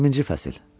20-ci fəsil.